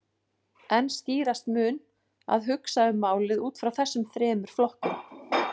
En skýrast mun að hugsa um málið út frá þessum þremur flokkum.